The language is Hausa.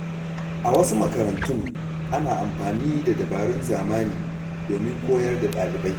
A wasu makarantun, ana amfani da dabarun zamani domin koyar da ɗalibai.